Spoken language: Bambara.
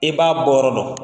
E b'a bɔyɔ dɔn,